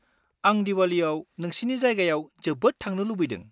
आं दिवालीयाव नोंसिनि जायगायाव जोबोद थांनो लुबैदों।